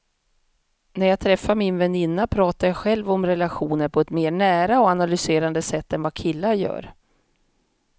När jag träffar min väninna pratar jag själv om relationer på ett mer nära och analyserande sätt än vad killar gör.